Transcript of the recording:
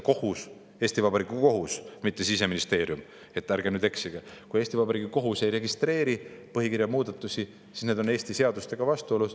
Kui Eesti Vabariigi kohus – mitte Siseministeerium, ärge nüüd eksige – ei registreeri põhikirja muudatusi, siis need on Eesti seadustega vastuolus.